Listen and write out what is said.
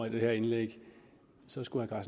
i det her indlæg så skulle herre